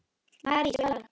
Mari, spilaðu lag.